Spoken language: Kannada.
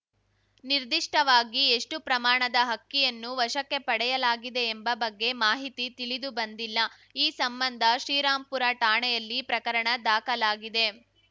ನಿರ್ದಿಷ್ಟವಾಗಿ ಎಷ್ಟುಪ್ರಮಾಣದ ಅಕ್ಕಿಯನ್ನು ವಶಕ್ಕೆ ಪಡೆಯಲಾಗಿದೆ ಎಂಬ ಬಗ್ಗೆ ಮಾಹಿತಿ ತಿಳಿದುಬಂದಿಲ್ಲ ಈ ಸಂಬಂಧ ಶ್ರೀರಾಂಪುರ ಠಾಣೆಯಲ್ಲಿ ಪ್ರಕರಣ ದಾಖಲಾಗಿದೆ